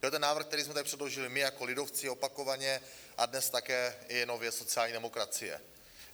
To je ten návrh, který jsme tady předložili my jako lidovci opakovaně a dnes také i nově sociální demokracií.